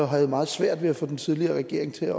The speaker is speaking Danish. havde meget svært ved at få den tidligere regering til at